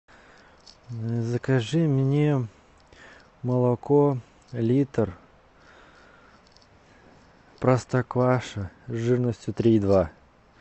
закажи мне молоко литр простокваша жирностью три и два